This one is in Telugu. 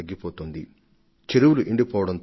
దీనితో ఈ జలాశయాల సామర్థ్యం క్రమంగా తగ్గిపోయింది